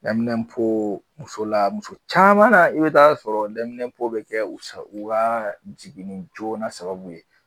musola, muso caman na, i bɛ taga sɔrɔ bɛ kɛ u ka jigin joona sababu ye.